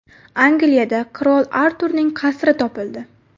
Angliyada Qirol Arturning qasri topildi.